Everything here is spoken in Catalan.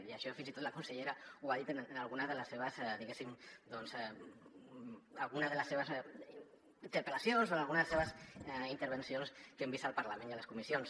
i això fins i tot la consellera ho ha dit en alguna de les seves di·guéssim interpel·lacions o en alguna de les seves intervencions que hem vist al par·lament i a les comissions